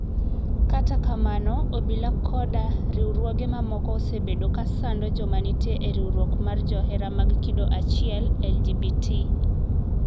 Kata kamano, obila koda riwruoge mamoko osebedo ka sando joma nitie e riwruok mar johera mag kido achiel LGBT.